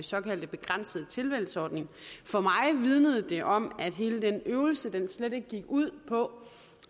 såkaldte begrænsede tilvalgsordning for mig vidnede det om at hele den øvelse slet ikke gik ud på